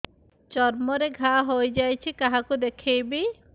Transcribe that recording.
ଚର୍ମ ରେ ଘା ହୋଇଯାଇଛି କାହାକୁ ଦେଖେଇବି